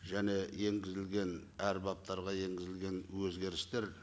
және енгізілген әр баптарға енгізілген өзгерістер